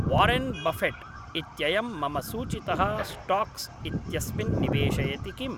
Warren Buffett इत्ययं मम सूचितः स्टाक्स् इत्यस्मिन् निवेशयति किम्